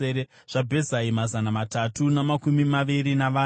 zvaBhezai, mazana matatu namakumi maviri navana;